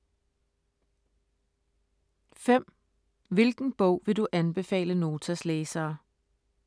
5) Hvilken bog vil du anbefale Notas læsere?